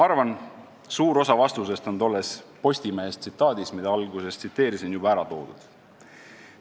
Arvan, et suur osa vastusest on tolles Postimehe tsitaadis, mida ma alguses tsiteerisin, ära toodud.